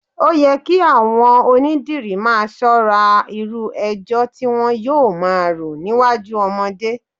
Ó yẹ kí àwọn onídìrí máa ṣọ́ra irú ẹjọ́ tí wọn yóò máa rò níwájú ọmọdé